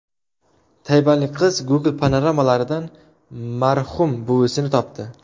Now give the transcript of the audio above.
Tayvanlik qiz Google panoramalaridan marhum buvasini topdi.